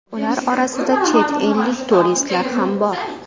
Ular orasida chet ellik turistlar ham bor.